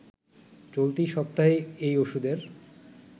চলতি সপ্তাহেই এই ওষুধের